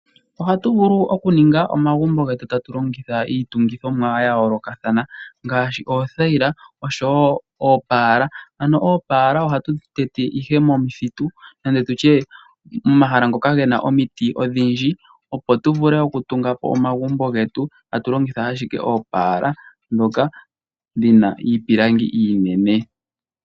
Ohatu vulu okuninga omagumbo getu tatu longitha iitungithomwa ya yoolokathana ngaashi oothaila oshowo oopaala. Ano oopala ohatu tete ihe momuthitu nande tutye momahala ngoka gena omiti odhindji ,opo tu vule okutunga po omagumbo getu tatu longitha ashike oopala ndhoka dhina iipilangi iinene.